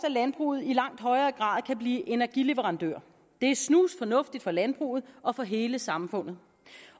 at landbruget i langt højere grad kan blive energileverandør det er snusfornuftigt for landbruget og for hele samfundet